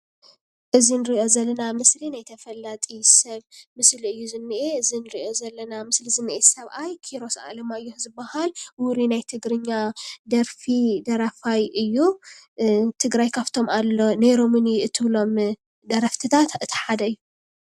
እዚ ንሪኦ ዘለና ምስሊ ናይ ተፈላጢ ሰብ ምስሊ እዩ ዝኒአ እዚ ንሪኦ ዘለና ምስሊ ዝኒአ ሰብኣይ ኪሮስ ኣለማዮህ ዝባሃል ውሩይ ናይ ትግርኛ ደርፊ ደራፋይ እዩ፡፡ ትግራይ ካብቶም ኣሎ ኔሮምኒ እትብሎም ደረፍትታት እቲ ሓደ እዩ፡፡